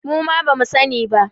Muma bamu sa ni ba